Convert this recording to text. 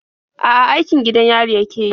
A'a, aikin gidan yari yake yi.